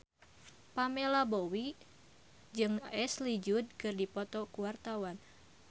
Pamela Bowie jeung Ashley Judd keur dipoto ku wartawan